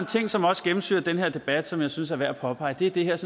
ting som også gennemsyrer den her debat og som jeg synes er værd at påpege det er det her